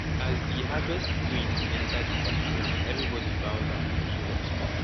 di harvest queen enter di party ground everybody bow down to show respect